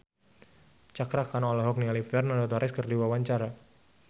Cakra Khan olohok ningali Fernando Torres keur diwawancara